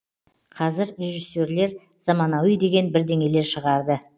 қазір режиссерлер заманауи деген бірдеңелер шығарды